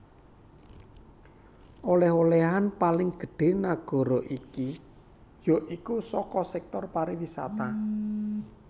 Olèh olèhan paling gedhé nagara iki ya iku saka sektor pariwisata